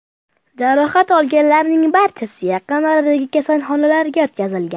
Jarohat olganlarning barchasi yaqin oradagi kasalxonalarga yotqizilgan.